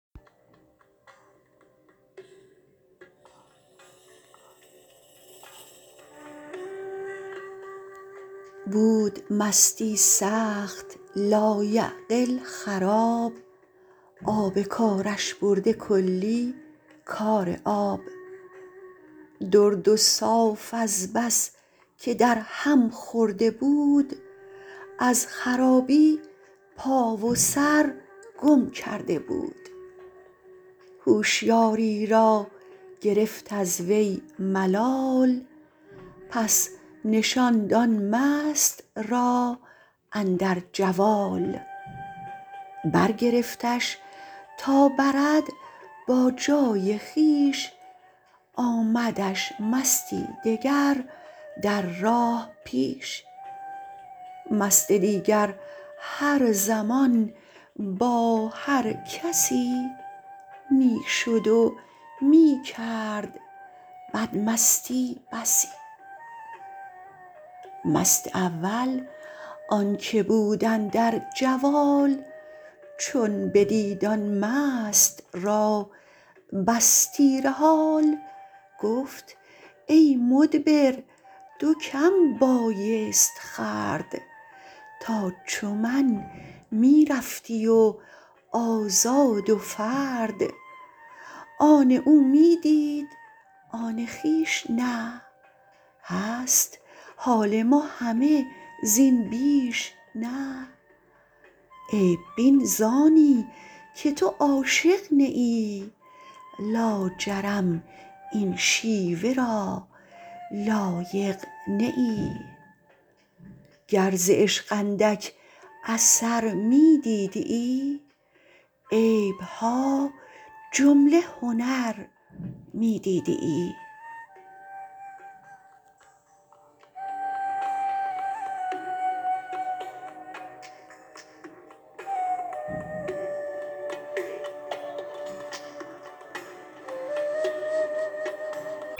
بود مستی سخت لایعقل خراب آب کارش برده کلی کار آب درد و صاف از بس که در هم خورده بود از خرابی پا و سر گم کرده بود هوشیاری را گرفت از وی ملال پس نشاند آن مست را اندر جوال برگرفتش تا برد با جای خویش آمدش مستی دگر در راه پیش مست دیگر هر زمان با هر کسی می شد و می کرد بد مستی بسی مست اول آنک بود اندر جوال چون بدید آن مست را بس تیره حال گفت ای مدبر دو کم بایست خورد تا چو من می رفتی و آزاد و فرد آن او می دید آن خویش نه هست حال ما همه زین بیش نه عیب بین زانی که تو عاشق نه ای لاجرم این شیوه را لایق نه ای گر ز عشق اندک اثر می دیدیی عیبها جمله هنر می دیدیی